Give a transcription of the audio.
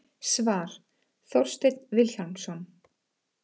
Svar: Þorsteinn Vilhjálmsson